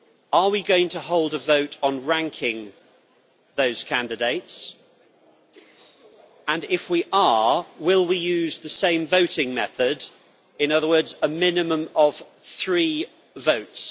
Are we going to hold a vote on ranking those candidates, and if we are, will we use the same voting method in other words, a minimum of three votes?